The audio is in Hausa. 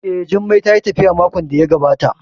Eh, Jummai tayi tafiya makon da ya gabata